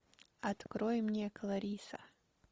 открой мне клариса